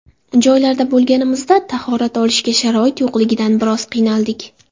Joylarda bo‘lganimizda tahorat olishga sharoit yo‘qligidan bir oz qiynaldik”.